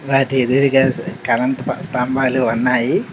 వాటి ఎదురుగా కరెంట్ స్తంభాలు ఉన్నాయి.